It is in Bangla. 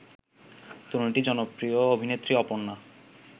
তরুণীটি জনপ্রিয় অভিনেত্রী অপর্ণা